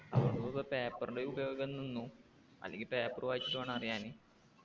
paper ൻ്റെ ഉപയോഗം നിന്നു അല്ലെങ്കി paper വായിച്ചിട്ടു വേണം അറിയാന്